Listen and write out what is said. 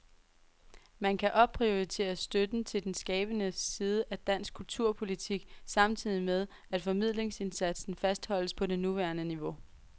Man kan opprioritere støtten til den skabende side af dansk kulturpolitik, samtidig med at formidlingsindsatsen fastholdes på det nuværende niveau.